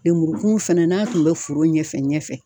Lemurukumun fɛnɛ n'a tun bɛ foro ɲɛfɛ ɲɛfɛ.